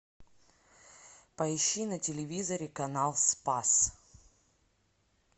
поищи на телевизоре канал спас